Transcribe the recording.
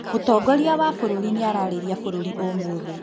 Mũtongoria wa bũrũri nĩararĩria bũruri ũmũthĩ